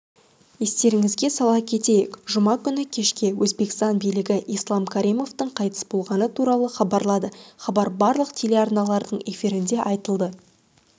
естеріңізге сала кетейік жұма күні кешке өзбекстан билігі ислам каримовтің қайтыс болғаны туралы хабарлады хабар барлық телеарналардың эфирінде айтылды